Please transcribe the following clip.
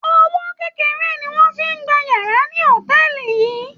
Owó kékeré ni wọ́n fi ń gba yàrá ní hòtẹ́ẹ̀lì yìí.